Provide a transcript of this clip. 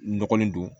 N dɔgɔnin don